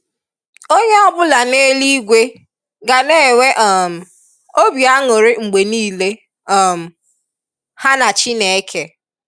Onye ọ̀bụ̀la n’elu-igwe ga na-enwe um ọ̀bị̀ anwùrì mgbe niile um ha na Chineke.